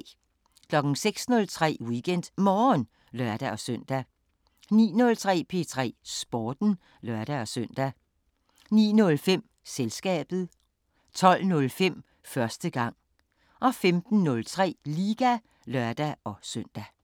06:03: WeekendMorgen (lør-søn) 09:03: P3 Sporten (lør-søn) 09:05: Selskabet 12:05: Første gang 15:03: Liga (lør-søn)